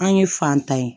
An ye fan ta ye